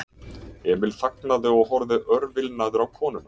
Emil þagnaði og horfði örvilnaður á konuna.